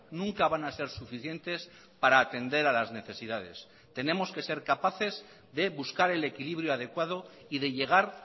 nunca van a ser suficientes para atender a las necesidades tenemos que ser capaces de buscar el equilibrio adecuado y de llegar